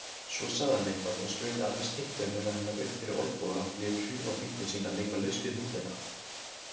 Svo sagði hann eitthvað og strauk aðra skyrtuermina hennar upp fyrir olnboga og lét hrjúfa fingur sína leika laust við húðina.